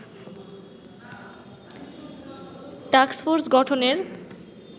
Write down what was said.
task force গঠনের